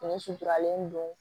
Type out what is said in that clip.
Fini suturalen don